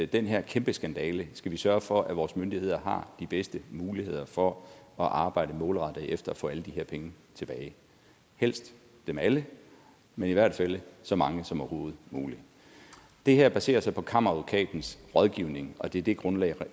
den her kæmpe skandale skal vi sørge for at vores myndigheder har de bedste muligheder for at arbejde målrettet efter at få alle de her penge tilbage helst dem alle men i hvert fald så mange som overhovedet muligt det her baserer sig på kammeradvokatens rådgivning og det det grundlag